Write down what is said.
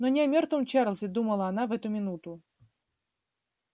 но не о мёртвом чарлзе думала она в эту минуту